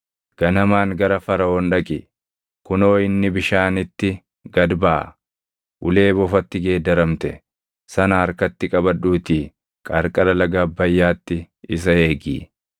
Ganamaan gara Faraʼoon dhaqi; kunoo inni bishaanitti gad baʼa. Ulee bofatti geeddaramte sana harkatti qabadhuutii qarqara laga Abbayyaatti isa eegi.